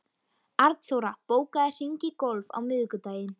Arnþóra, bókaðu hring í golf á miðvikudaginn.